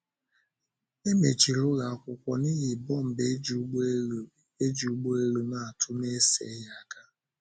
E mechiri ụlọ akwụkwọ n’ihi bọmbụ e ji ụgbọelu e ji ụgbọelu na-atụ n’eseghị aka.